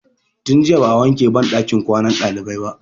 Tun jiya ba'a wanke banɗakin ɗakin kwanan ɗalibai ba.